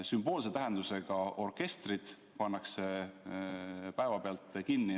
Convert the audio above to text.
Sümboolse tähendusega orkestrid pannakse päevapealt kinni.